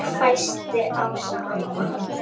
hvæsti Ása amma.